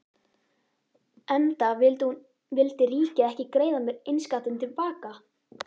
Enda vildi ríkið ekki greiða mér innskattinn til baka.